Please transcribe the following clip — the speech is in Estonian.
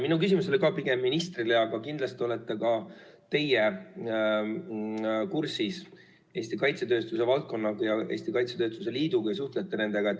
Minu küsimus oli ka pigem ministrile, aga kindlasti olete ka teie kursis Eesti kaitsetööstuse valdkonnaga ja Eesti Kaitsetööstuse Liiduga ja suhtlete nendega.